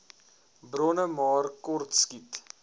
bronne maar kortskiet